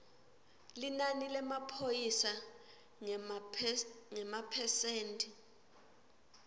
linani lemaphoyisa ngemaphesenti